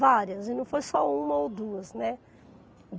várias, e não foi só uma ou duas, né?